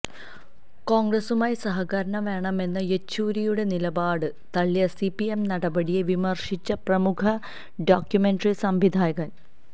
കോണ്ഗ്രസുമായി സഹകരണം വേണമെന്ന യെച്ചൂരിയുടെ നിലപാട് തളളിയ സിപിഎം നടപടിയെ വിമര്ശിച്ച് പ്രമുഖ ഡോക്യുമെന്ററി സംവിധായകന്